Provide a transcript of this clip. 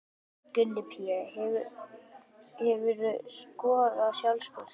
Gunni Pé Hefurðu skorað sjálfsmark?